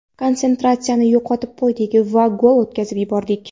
Konsentratsiyani yo‘qotib qo‘ydik va gol o‘tkazib yubordik.